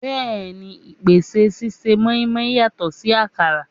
Bẹẹni, igbese sise mọ́í-mọ́í yàtọ̀ sí àkàrà.